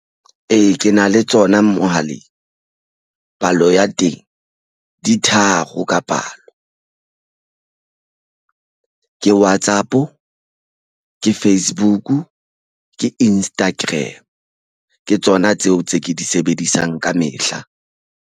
Ee, ke na le tsona mohaleng palo ya teng di tharo ka palo ka WhatsApp ke Facebook ke Instagram ke tsona tseo tse ke di sebedisang kamehla.